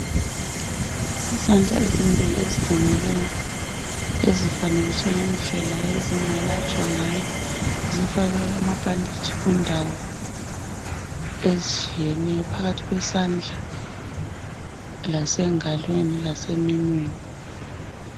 Izandla ezimbili ezilimeleyo ezifanekiswe indlela ezingelatshwa ngayo. Zifakwe amabhanditshi kundawo ezitshiyeneyo phakathi kwesandla lasengalweni ,laseminweni.